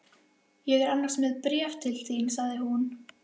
Ég er annars með bréf til þín sagði hún.